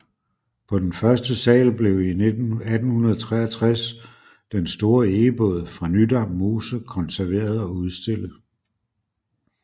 På den første sal blev i 1863 den store egebåd fra Nydam Mose konserveret og udstillet